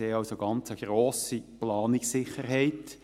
Sie haben also eine ganz grosse Planungssicherheit.